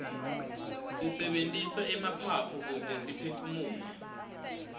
sisebentisa emaphaphu kute siphefumule